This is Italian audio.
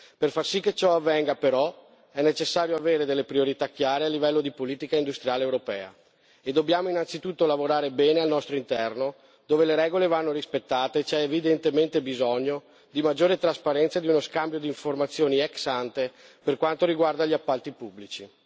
Per far sì che ciò avvenga, però, è necessario avere delle priorità chiare a livello di politica industriale europea e dobbiamo innanzitutto lavorare bene al nostro interno, dove le regole vanno rispettate e c'è evidentemente bisogno di maggiore trasparenza e di uno scambio di informazioni ex ante per quanto riguarda gli appalti pubblici.